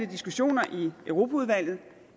diskussioner i europaudvalget